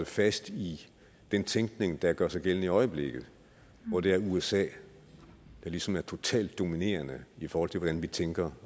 fast i den tænkning der gør sig gældende i øjeblikket hvor det er usa der ligesom er totalt dominerende i forhold til hvordan vi tænker